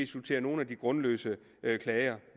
sortere nogle af de grundløse klager